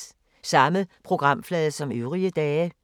Samme programflade som øvrige dage